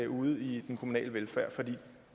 ude i den kommunale velfærd for det